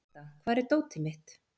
Folda, hvar er dótið mitt?